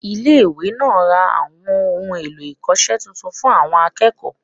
Ile èkó náà ra àwọn ohun èlò-ìkose titun fun àwọn akéèkòó